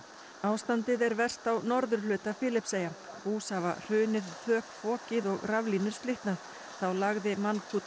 ástandið er verst á norðurhluta Filippseyja hús hafa hrunið þök fokið og raflínur slitnað þá lagði